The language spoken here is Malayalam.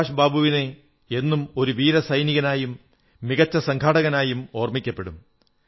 സുഭാഷ് ബാബു എന്നും ഒരു വീര സൈനികനായും മികച്ച സംഘാടകനായും ഓർമ്മിക്കപ്പെടും